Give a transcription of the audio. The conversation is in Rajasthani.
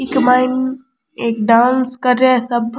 एक एक डांस कर रेहा है सब।